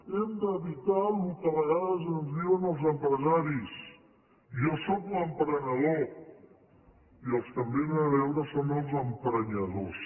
hem d’evitar el que a vegades ens diuen els empresaris jo sóc l’emprenedor i els que em vénen a veure són els emprenyadors